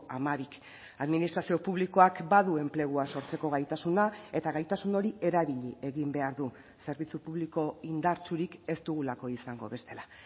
hamabik administrazio publikoak badu enplegua sortzeko gaitasuna eta gaitasun hori erabili egin behar du zerbitzu publiko indartsurik ez dugulako izango bestela